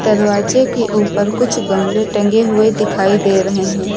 दरवाजे के ऊपर कुछ गमले टंगे हुए दिखाई दे रहे हैं।